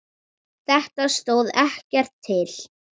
Þetta stóð ekkert til.